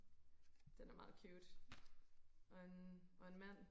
den er meget cute og en og en mand